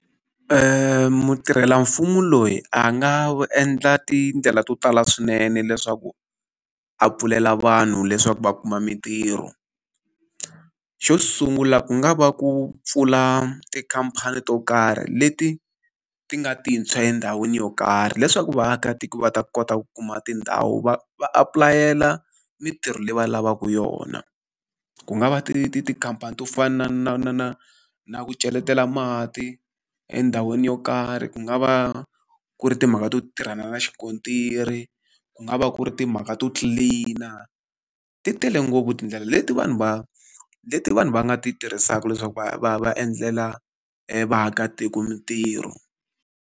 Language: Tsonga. mutirhelamfumo loyi a nga endla tindlela to tala swinene leswaku a pfulela vanhu leswaku va kuma mitirho. Xo sungula ku nga va ku pfula tikhamphani to karhi leti ti nga tintshwa endhawini yo karhi, leswaku vaakatiko va ta kota ku kuma tindhawu va va apulayela mitirho leyi va lavaka yona. Ku nga va ti ti tikhamphani to fana na na na na ku cheletela mati endhawini yo karhi, ku nga va ku ri timhaka to tirhana na xikontiri, ku nga va ku ri timhaka to clean-a, ti tele ngopfu tindlela leti vanhu va leti vanhu va nga ti tirhisaka leswaku va va va endlela vaakatiko mitirho.